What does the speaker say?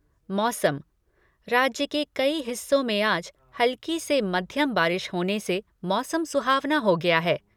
मौसम राज्य के कई हिस्सों में आज हल्की से मध्यम बारिश होने से मौसम सुहावना हो गया है।